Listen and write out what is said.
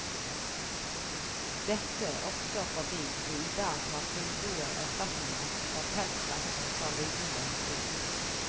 Dette også fordi vi i dag har fullgode erstatninger for pelsverk fra lidende dyr.